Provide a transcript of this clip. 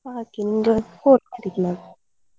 ಹಾಗೆ ನಿಮ್ಗೆ ಇವತ್ತ್ phone ಮಾಡಿದ್ ನಾನ್.